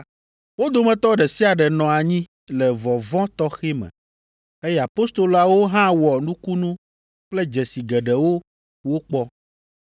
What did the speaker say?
Wo dometɔ ɖe sia ɖe nɔ anyi le vɔvɔ̃ tɔxɛ me, eye apostoloawo hã wɔ nukunu kple dzesi geɖewo wokpɔ.